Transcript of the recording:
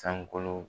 Sankolo